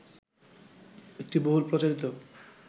একটি বহুল প্রচারিত